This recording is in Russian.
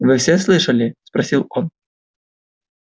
вы все слышали спросил он